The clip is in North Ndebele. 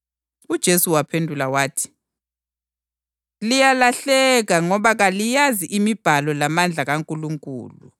UJesu waphendula wathi, “Liyalahleka ngoba kaliyazi imibhalo lamandla kaNkulunkulu.